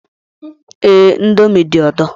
Ee, indomie dị ụtọ